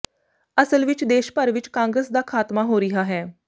ਅਸਲ ਵਿਚ ਦੇਸ਼ ਭਰ ਵਿਚ ਕਾਂਗਰਸ ਦਾ ਖਾਤਮਾ ਹੋ ਰਿਹਾ ਹੈ